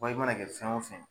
Wa i mana kɛ fɛn o fɛn